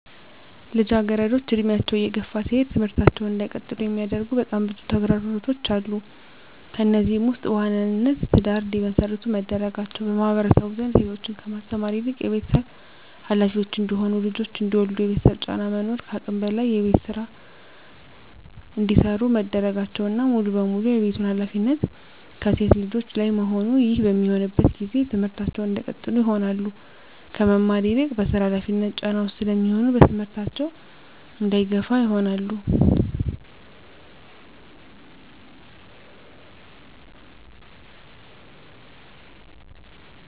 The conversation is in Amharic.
ልጃገረዶች እድሜያቸው እየገፋ ሲሄድ ትምህርታቸውን እንዳይቀጥሉ የሚያደርጉ በጣም ብዙ ተግዳሮቶች አሉ። ከነዚህም ውስጥ በዋናነት ትዳር እንዲመሰርቱ መደረጋቸው በማህበረሰቡ ዘንድ ሴቶችን ከማስተማር ይልቅ የቤተሰብ ሀላፊዎች እንዲሆኑ ልጆች እንዲወልዱ የቤተሰብ ጫና መኖር ከአቅም በላይ የቤት ውስጥ ስራ እንዲሰሩ መደረጋቸውና ሙሉ በሙሉ የቤቱን ሀላፊነት ከሴት ልጆች ላይ መሆኑ ይህ በሚሆንበት ጊዜ ትምህርታቸውን እንዳይቀጥሉ ይሆናሉ። ከመማር ይልቅ በስራ ሀላፊነት ጫና ውስጥ ስለሚሆኑ በትምህርታቸው እንዳይገፋ ይሆናሉ።